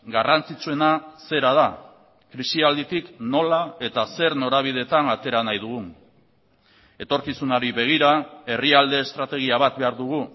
garrantzitsuena zera da krisialditik nola eta zer norabideetan atera nahi dugun etorkizunari begira herrialde estrategia bat behar dugu